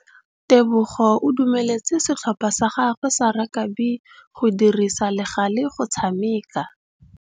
Tebogô o dumeletse setlhopha sa gagwe sa rakabi go dirisa le galê go tshameka.